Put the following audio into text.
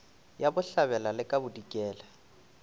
ya bohlabela le ka bodikela